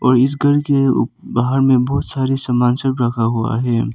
इस घर के उप बाहर में बहुत सारे सामान सब रखा हुआ हैं।